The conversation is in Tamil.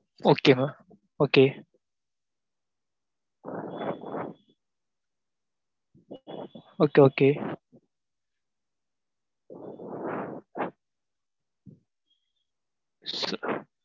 Okay மா okay okay okay